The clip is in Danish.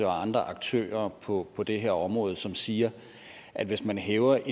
og andre aktører på på det her område som siger at hvis man hæver